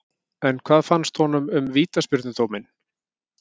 En hvað fannst honum um vítaspyrnudóminn?